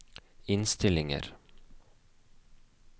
innstillinger